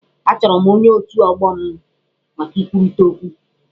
Achọrọ m ọnye otù ọgbọ m maka ikwurịta okwu.